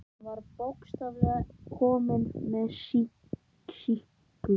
Hann var bókstaflega kominn með sýki.